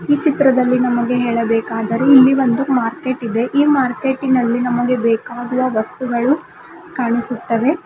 ಈ ಚಿತ್ರದಲ್ಲಿ ನಮಗೆ ಹೇಳಬೇಕಾದರೆ ಇಲ್ಲಿ ಒಂದು ಮಾರ್ಕೆಟ್ ಇದೆ ಈ ಮಾರ್ಕೆಟಿನಲ್ಲಿ ನಮಗೆ ಬೇಕಾಗುವ ವಸ್ತುಗಳು ಕಾಣಿಸುತ್ತವೆ.